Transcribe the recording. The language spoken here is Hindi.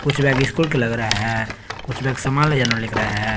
कुछ बैग स्कूल का लग रहा है कुछ बैग सामान ले जाने लग रहा है।